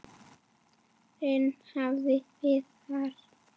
Þinn Rafn Viðar.